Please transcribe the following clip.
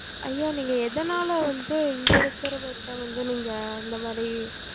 ஐயா நீங்க எதனால வந்து இங்க இருக்குறவங்கட வந்து நீங்க இந்த மாரி